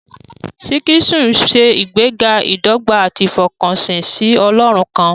Sikhism ń ṣe ìgbéga ìdọ́gba àti ìfọkànsìn sí Ọlọ́run kan.